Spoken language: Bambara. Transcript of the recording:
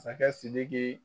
sakɛ SIDIKI.